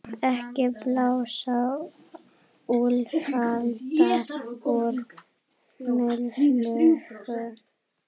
Ekki blása úlfalda úr mýflugu